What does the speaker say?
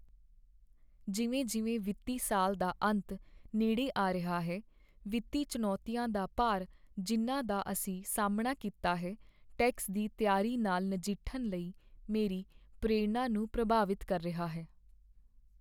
ਜਿਵੇਂ ਜਿਵੇਂ ਵਿੱਤੀ ਸਾਲ ਦਾ ਅੰਤ ਨੇੜੇ ਆ ਰਿਹਾ ਹੈ, ਵਿੱਤੀ ਚੁਣੌਤੀਆਂ ਦਾ ਭਾਰ ਜਿਨ੍ਹਾਂ ਦਾ ਅਸੀਂ ਸਾਹਮਣਾ ਕੀਤਾ ਹੈ, ਟੈਕਸ ਦੀ ਤਿਆਰੀ ਨਾਲ ਨਜਿੱਠਣ ਲਈ ਮੇਰੀ ਪ੍ਰੇਰਣਾ ਨੂੰ ਪ੍ਰਭਾਵਿਤ ਕਰ ਰਿਹਾ ਹੈ।